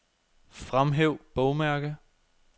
Fremhæv bogmærke.